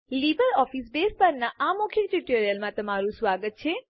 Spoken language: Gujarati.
લીબરઓફીસ બેઝ પરનાં આ મૌખિક ટ્યુટોરીયલમાં તમારું સ્વાગત છે